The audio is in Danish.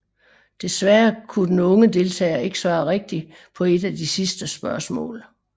Desværre kunne den unge deltager ikke svare rigtigt på et af de sidste spørgsmål